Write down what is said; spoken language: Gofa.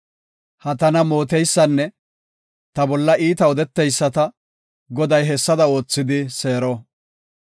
Ha tana mooteysanne ta bolla iita odeteyisata Goday hessada oothidi seero.